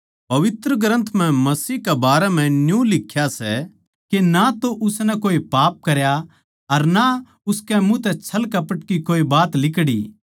पवित्र ग्रन्थ म्ह मसीह के बारें म्ह न्यू लिख्या सै के ना तो उसनै पाप करया अर ना उसकै मुँह तै छळकपट की कोई बात लिकड़ी